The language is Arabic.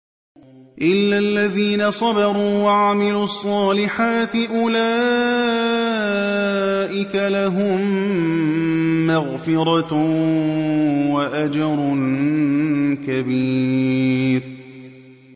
إِلَّا الَّذِينَ صَبَرُوا وَعَمِلُوا الصَّالِحَاتِ أُولَٰئِكَ لَهُم مَّغْفِرَةٌ وَأَجْرٌ كَبِيرٌ